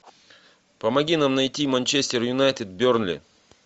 помоги нам найти манчестер юнайтед бернли